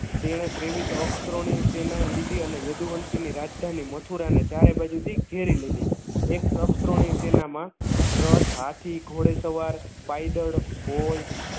તેણે તેવીશ અક્ક્ષ્રોનિ સેના લીધી અને યદુવંશી ની રાજધાની મથુરાને ચારે બાજુથી ઘેરી લીધી. એક અક્ક્ષ્રોનિ સેનામા રથ હાથી ઘોડે સવાર પાયદળ હોય